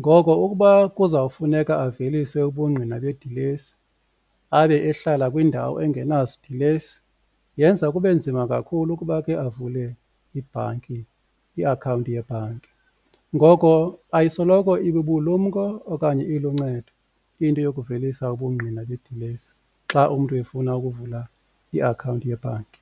ngoko ukuba kuzawufuneka avelise ubungqina bedilesi abe ehlala kwindawo engenazi dilesi yenza kube nzima kakhulu ukuba ke avule ibhanki iakhawunti yebhanki. Ngoko ayisoloko ibubulumko okanye iluncedo into yokuvelisa ubungqina bedilesi xa umntu efuna ukuvula iakhawunti yebhanki.